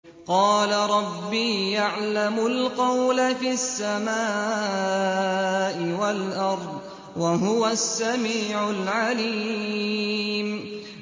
قَالَ رَبِّي يَعْلَمُ الْقَوْلَ فِي السَّمَاءِ وَالْأَرْضِ ۖ وَهُوَ السَّمِيعُ الْعَلِيمُ